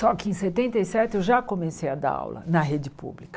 Só que em setenta e sete eu já comecei a dar aula na rede pública.